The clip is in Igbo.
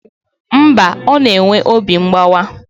Mba, ọ na-enwe obi mgbawa